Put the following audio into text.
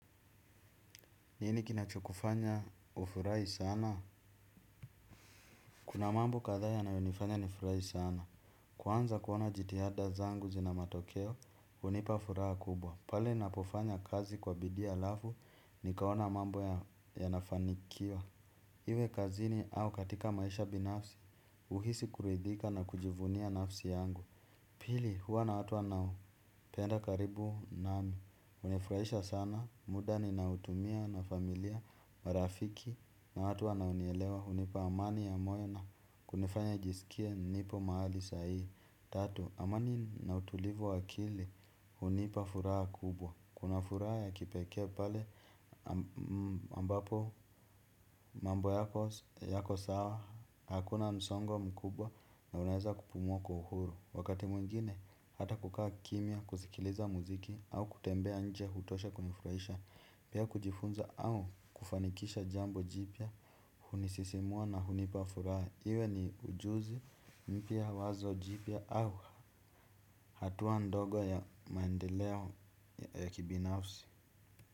Nini kinachokufanya ufurahi sana? Kuna mambo katha yanayo nifanya nifurahi sana. Kuanza kuona jitihada zangu zina matokeo, unipa furaha kubwa. Pale ninapofanya kazi kwa bidii alafu, nikaona mambo yanafanikiwa. Iwe kazini au katika maisha binafsi, uhisi kuridhika na kujivunia nafsi yangu. Pili huwa na watu nao penda karibu nami. Unifraisha sana muda nina utumia na familia marafiki na watu wanaonielewa unipa amani ya moyo na kunifanya nijisikie nipo mahali sahi. Tatu, amani na utulivu wakili unipa furaha kubwa. Kuna furaha ya kipeke pale ambapo mambo yako sawa hakuna msongo mkubwa na unaeza kupumuwa wa kwa uhuru. Wakati mwingine, hata kukaa kimia, kusikiliza muziki, au kutembea nje hutosha kunifurahisha. Pia kujifunza au kufanikisha jambo jipia hunisisimua na hunipafuraa, iwe ni ujuzi mpia wazo jipia au hatua ndogo ya maendeleo ya kibinafsi.